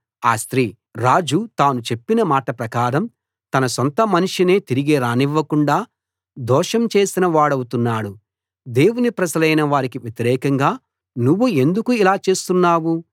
ఆ స్త్రీ రాజు తాను చెప్పిన మాట ప్రకారం తన సొంతమనిషినే తిరిగి రానివ్వకుండా దోషం చేసిన వాడవుతున్నాడు దేవుని ప్రజలైన వారికి వ్యతిరేకంగా నువ్వు ఎందుకు ఇలా చేస్తున్నావు